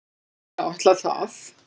Ég áætla það.